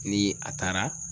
Ni a taara